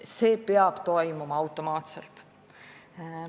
See peab toimuma automaatselt.